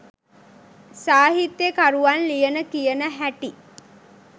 සාහිත්‍ය කරුවන් ලියන කියන හැටි